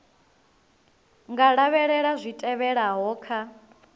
nga lavhelela zwi tevhelaho kha